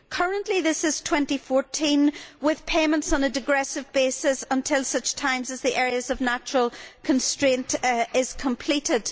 Currently this is 2014, with payments on a degressive basis until such time as the Areas of Natural Constraint scheme is completed.